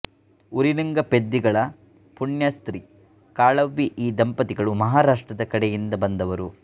ಉರಿಲಿಂಗಪೆದ್ದಿಗಳ ಪುಣ್ಯಸ್ತ್ರೀ ಕಾಳವ್ವೆ ಈ ದಂಪತಿಗಳು ಮಹಾರಾಷ್ಟ್ರದ ಕಡೆಯಿಂದ ಬಂದವರು